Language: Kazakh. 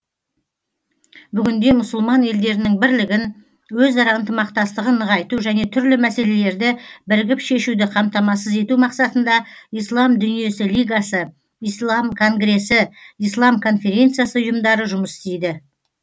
бүгінде мұсылман елдерінің бірлігін өзара ынтымақтастығын нығайту және түрлі мәселелерді бірігіп шешуді қамтамасыз ету мақсатында ислам дүниесі лигасы ислам конгресі ислам конференциясы ұйымдары жұмыс істейді